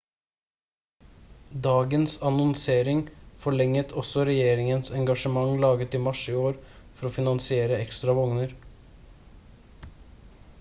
dagens annonsering forlenget også regjeringens engasjement laget i mars i år for å finansiere ekstra vogner